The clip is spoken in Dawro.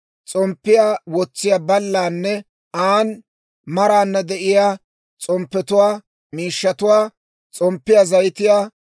s'omppiyaa wotsiyaa ballaanne an maarana de'iyaa s'omppetuwaa, miishshatuwaa, s'omppiyaa zayitiyaa,